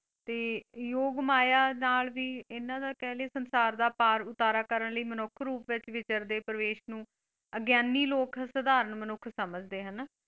ਤੇ ਯੋਗ ਮਾਇਆ ਨਾਲ ਵੀ ਇਹਨਾਂ ਦਾ ਕਹਿੰਦੇ ਸੰਸਾਰ ਦਾ ਪਾਰ ਉਤਾਰਾ ਕਰਨ ਲਈ ਮਨੁੱਖ ਰੂਪ ਵਿੱਚ ਵਿਚਰਦੇ ਪ੍ਰਵੇਸ਼ ਨੂੰ ਅਗਿਆਨੀ ਲੋਕ ਸਾਧਾਰਨ ਮਨੁੱਖ ਸਮਝਦੇ ਹੈ ਹਨਾ।